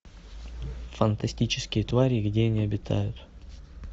фантастические твари и где они обитают